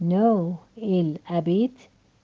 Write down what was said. ноу ин хабит